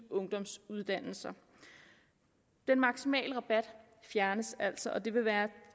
ungdomsuddannelser den maksimale rabat fjernes altså og det vil være